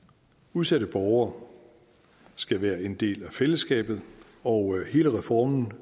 udsatte borgere skal være en del af fællesskabet og hele reformen